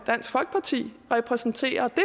dansk folkeparti repræsenterer det